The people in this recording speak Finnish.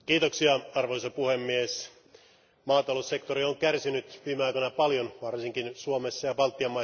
Arvoisa puhemies, maataloussektori on kärsinyt viime aikoina paljon varsinkin Suomessa ja Baltian maissa.